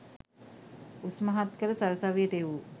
උස්මහත් කර සරසවියට එවූ